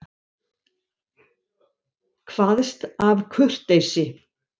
Kvaðst af kurteisi.